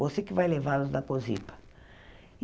Você que vai levá-los da Cosipa.